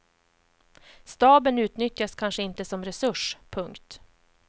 Staben utnyttjas kanske inte som resurs. punkt